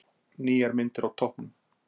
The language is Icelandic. Nýjar myndir á toppnum